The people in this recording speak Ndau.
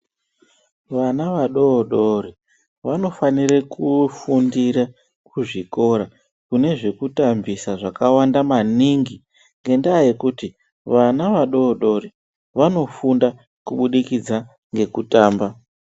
Vana vadodori vanofanira kufundire kuzvikora kune zvekutambisa zvakawanda maningi ngendaa yekuti vana vadodori vanofunda kubudikidza ngekutamba.